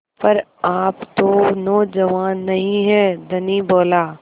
पर आप तो नौजवान नहीं हैं धनी बोला